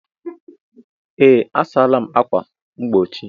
Ee, a sala m ákwà mgbochi.